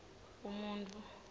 umuntfu